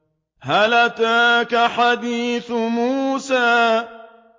هَلْ أَتَاكَ حَدِيثُ مُوسَىٰ